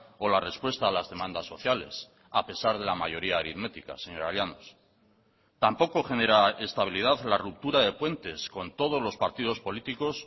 o la respuesta a las demandas sociales a pesar de la mayoría aritmética señora llanos tampoco genera estabilidad la ruptura de puentes con todos los partidos políticos